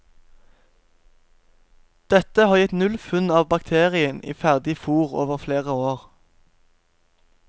Dette har gitt null funn av bakterien i ferdig fôr over flere år.